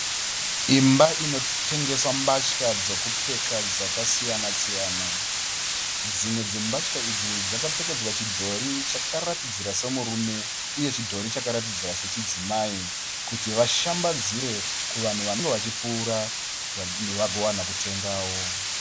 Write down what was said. Imba inotengeswa mbatya dzokupfeka dzakasiyana-siyana. Dzimwe dzembatya idzi dzakapfekedzwa pachidhori chinoratidzira semurume uye chime chakaratidzira sechidzimai kuti vashambidzire vanhu vanenge vachipfuura kuti vagowana kutengawo.